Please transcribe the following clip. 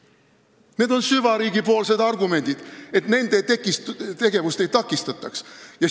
Veel kord: need on süvariigi argumendid, et nende tegevust ei takistataks.